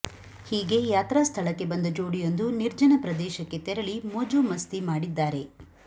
ಹೀಗೆ ಯಾತ್ರಾ ಸ್ಥಳಕ್ಕೆ ಬಂದ ಜೋಡಿಯೊಂದು ನಿರ್ಜನ ಪ್ರದೇಶಕ್ಕೆ ತೆರಳಿ ಮೋಜು ಮಸ್ತಿ ಮಾಡಿದ್ದಾರೆ